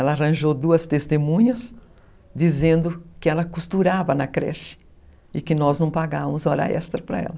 Ela arranjou duas testemunhas dizendo que ela costurava na creche e que nós não pagávamos hora extra para ela.